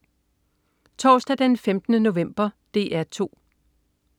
Torsdag den 15. november - DR 2: